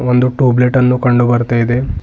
ಒಂದು tube light ಅನ್ನು ಕಂಡು ಬರ್ತಾ ಇದೆ.